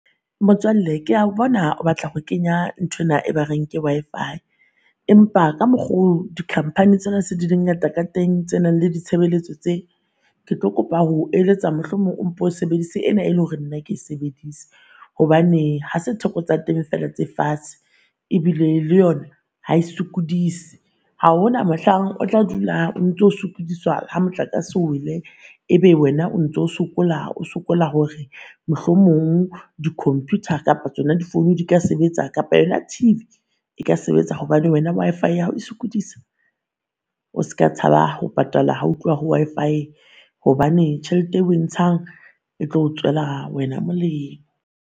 Motswalle ke a bona o batla ho kenya nthwena e ba reng ke Wi-Fi. Empa ka mokgo di khamphani tsena se di di ngata ka teng tse nang le ditshebeletso tse, ke tlo kopa ho eletsa mohlomong o mpo o sebedise ena e leng hore nna ke sebedise. Hobane ha se theko tsa teng feela tse fatshe ebile le yona ha e sokodise. Ha hona mohlang o tla dula o ntso o sokodiswa ha motlakase o wele ebe wena o ntso sokola o sokola hore mohlomong di-computer kapa tsona di-phone di ka sebetsa kapa yona TV e ka sebetsa hobane wena Wi-Fi ya hao e sokodisa. O ska tshaba ho patala ha ho Wi-fi, hobane tjhelete e o e ntshang e tlo tswela wena molemo.